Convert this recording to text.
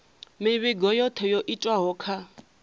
mivhigo yothe yo itwaho kha